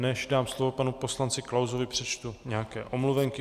Než dám slovo panu poslanci Klausovi, přečtu nějaké omluvenky.